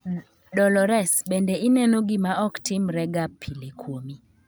Dolores, bende ineno gima ok timre ga pile kuomi